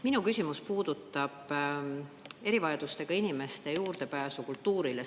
Minu küsimus puudutab erivajadustega inimeste juurdepääsu kultuurile.